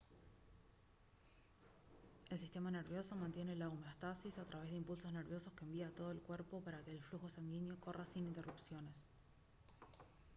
el sistema nervioso mantiene la homeostasis a través de impulsos nerviosos que envía a todo el cuerpo para que el flujo sanguíneo corra sin interrupciones